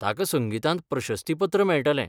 ताका संगीतांत प्रशस्तीपत्र मेळटलें.